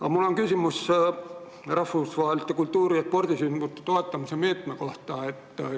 Aga mul on küsimus rahvusvaheliste kultuuri- ja spordisündmuste toetamise meetme kohta.